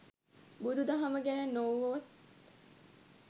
බුදු දහම ගැන නොවුවත්